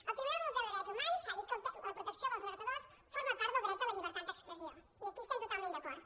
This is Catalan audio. el tribunal europeu de drets humans ha dit que la protecció dels alertadors forma part del dret a la llibertat d’expressió i aquí estem totalment d’acord